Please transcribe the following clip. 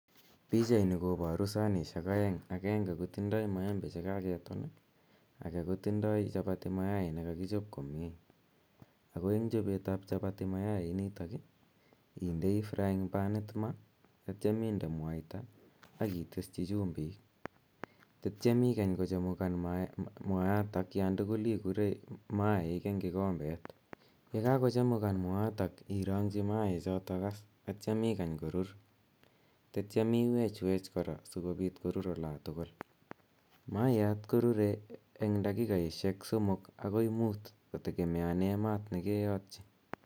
Pichaini koparu sanishek aeng'. Agnge ko tindai maembe che kaketon ake kotindai chapati mayai. Ako eng' chopetap chapati mayai initok inde frying pan ma atiam inde mwaita ak iteschi chumbik tatiam ikany kochumukan mwaatak yan tugul ikure maaik eng' kiombet. Ye kakochumukan mwaatak irang'chi maaichotok as atiam ikany korur. Tatiam iwechwech kora si kopit korur ola tugu. Mayat ko rurei eng' dakikoishek somok akoi muut kotegemene maat ne keyatchi.